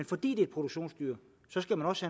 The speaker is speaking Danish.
fordi det er produktionsdyr skal man også